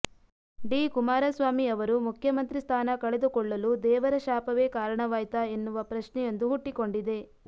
D Kumaraswamy ಅವರು ಮುಖ್ಯಮಂತ್ರಿ ಸ್ಥಾನ ಕಳೆದುಕೊಳ್ಳಲು ದೇವರ ಶಾಪವೇ ಕಾರಣವಾಯ್ತಾ ಎನ್ನುವ ಪ್ರಶ್ನೆಯೊಂದು ಹುಟ್ಟಿಕೊಂಡಿದೆ